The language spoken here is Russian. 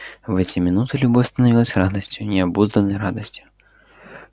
в эти минуты любовь становилась радостью необузданной радостью